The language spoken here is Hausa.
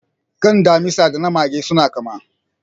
Kan damisa da na mage suna kama.